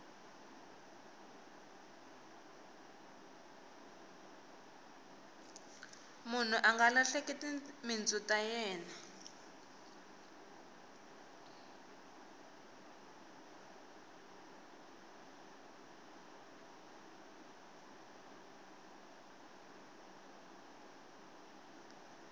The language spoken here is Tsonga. munhu anga lahleki timintsu ta yena